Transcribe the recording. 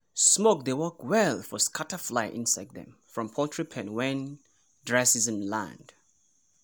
smoke dey work well for scatter fly insect dem from poultry pen when dry season land.